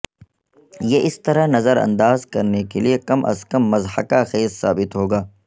یہ اس طرح نظر انداز کرنے کے لئے کم از کم مضحکہ خیز ثابت ہوگا